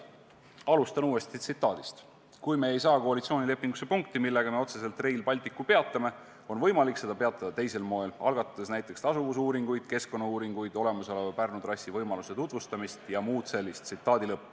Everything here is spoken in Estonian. Alustan uuesti tsitaadist: "Kui me ei saa koalitsioonilepingusse punkti, millega me otseselt Rail Balticu peatame, on võimalik seda peatada teisel moel, algatades näiteks tasuvusuuringuid, keskkonnauuringuid, olemasoleva Pärnu trassi võimaluse tutvustamist jms.